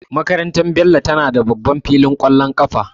Makarantar Bello tana da babban filin ƙwallon kafa.